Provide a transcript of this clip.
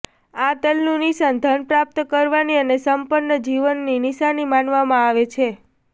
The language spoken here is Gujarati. આ તલનું નિશાન ધન પ્રાપ્ત કરવાની અને સંપન્ન જીવનની નિશાની માનવામાં આવે છે